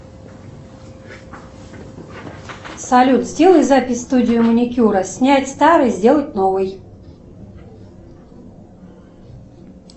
салют сделай запись в студию маникюра снять старый сделать новый